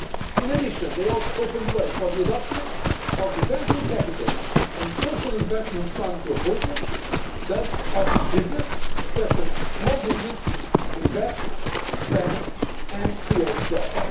In addition, they also open the way for the adoption of the venture capital and social investment fund proposals, thus helping business, especially small business, to invest, expand and create jobs.